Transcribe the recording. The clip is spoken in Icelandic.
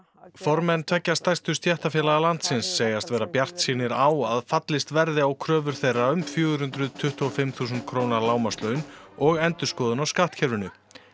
formenn tveggja stærstu stéttarfélaga landsins segjast vera bjartsýnir á að fallist verði á kröfur þeirra um fjögur hundruð tuttugu og fimm þúsund króna lágmarkslaun og endurskoðun á skattkerfinu